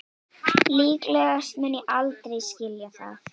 Líklegast mun ég aldrei skilja það